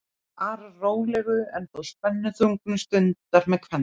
arar rólegu en þó spennuþrungnu stundar með kvenna